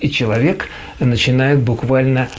и человек начинает буквально